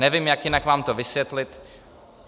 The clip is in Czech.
Nevím, jak jinak vám to vysvětlit.